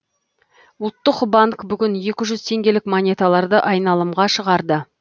ұлттық банк бүгін екі жүз теңгелік монеталарды айналымға шығарды